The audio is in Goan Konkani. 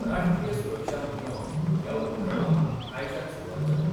राष्ट्रीय सुरक्षा म्हयनो ह्या उपक्रमाक आयच्यान सुरवात जाता.